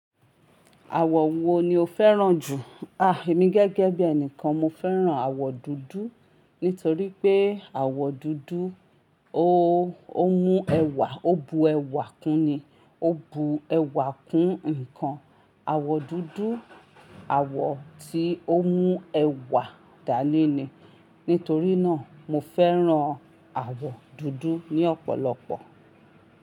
Àwọ̀ wo ni o fẹ́ràn jù? Ah, èmi gẹ́gẹ́ bí ẹni kan mo fẹ́ràn àwọ̀ dúdú nítorí pé àwọ̀ dúdú ó, ó mú ẹwà, ó bu ẹwà kún ni, ó bu ẹwà kún nǹkan. Àwọ̀ dúdú, àwọ̀ tí ó mú ẹwà dání ni. Nítorí náà mo fẹ́ràn àwọ̀ dúdú ní ọ̀pọ̀lọpọ̀.